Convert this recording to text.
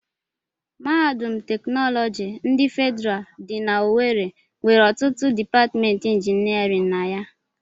Mahadum teknọlọgi ndị Fedịral dị n'owerre nwere ọtụtụ dipatịmentị injinịarịn na ya.